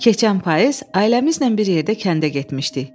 Keçən payız ailəmizlə bir yerdə kəndə getmişdik.